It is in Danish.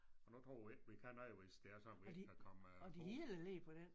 Og nu tror vi ikke vi kan noget hvis det er sådan vi ikke kan komme på